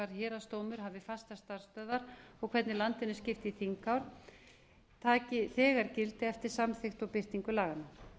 héraðsdómur hafi fastar starfsstöðvar og hvernig landinu er skipt í þinghár taki þegar gildi eftir samþykkt og birtingu laganna